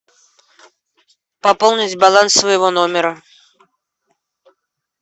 пополнить баланс своего номера